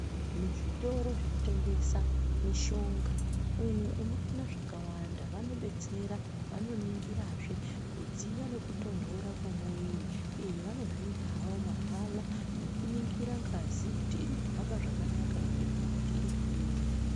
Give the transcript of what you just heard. Muzvitoro zvinotengesa mishonga umu unoona zvakwanda vanobetsera vanoningirazve kudziya nekutondora kwemuwiri izvi vanozviita havo mahala nekuningira ngazi kuti iri kuhamba zvakanaka ere kana kuti iri kudini.